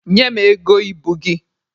Nye m ego ibu gị!